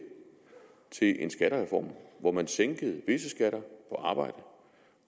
til en skattereform hvori man sænkede visse skatter på arbejde